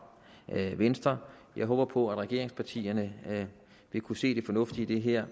venstre jeg håber på at regeringspartierne vil kunne se det fornuftige i det her